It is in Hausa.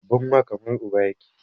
Babban wa kamar uba yake